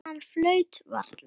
Hann flaut varla.